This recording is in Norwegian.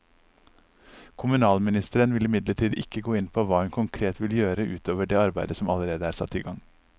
Kommunalministeren vil imidlertid ikke gå inn på hva hun konkret vil gjøre ut over det arbeidet som allerede er satt i gang.